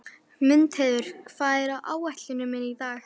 Mundheiður, hvað er á áætluninni minni í dag?